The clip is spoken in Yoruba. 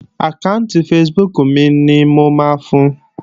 Àkáànti Facebook mi ni mo máa fun